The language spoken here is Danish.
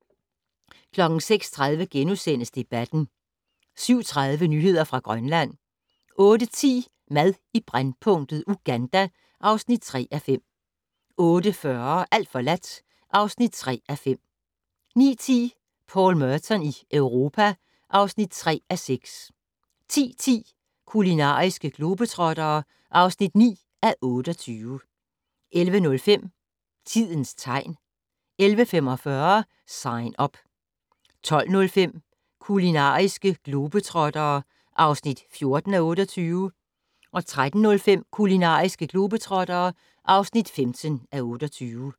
06:30: Debatten * 07:30: Nyheder fra Grønland 08:10: Mad i brændpunktet: Uganda (3:5) 08:40: Alt forladt (3:5) 09:10: Paul Merton i Europa (3:6) 10:10: Kulinariske globetrottere (9:28) 11:05: Tidens tegn 11:45: Sign Up 12:05: Kulinariske globetrottere (14:28) 13:05: Kulinariske globetrottere (15:28)